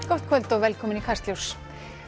gott kvöld og velkomin í Kastljós